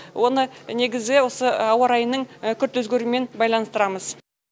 оны негізі осы ауа райының күрт өзгеруімен байланыстырамыз